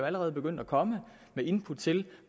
allerede begyndt at komme med input til